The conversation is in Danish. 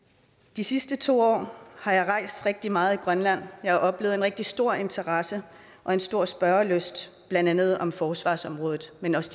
de sidste to år har jeg rejst rigtig meget i grønland jeg har oplevet en rigtig stor interesse og en stor spørgelyst blandt andet om forsvarsområdet men også